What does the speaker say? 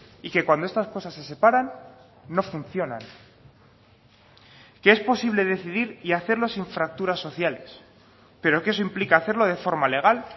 y que cuando estas cosas se separan no funcionan que es posible decidir y hacerlo sin fracturas sociales pero que eso implica hacerlo de forma legal